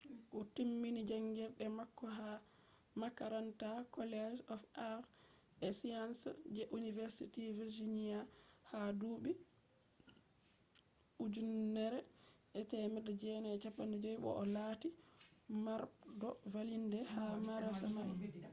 o timmini jangirde mako ha makaranta college of arts & sciences je university virginia ha dubi 1950 bo o latti mardo vallinde ha madarasa mai